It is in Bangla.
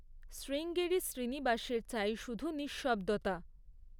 শ্রীঙ্গেরি শ্রীনিবাসের চাই শুধু নিঃশব্দতা।